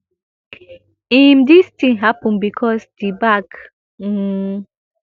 im dis tin happun becos di bag um